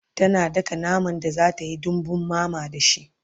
tana daka naman da zatayi dambun mama da shi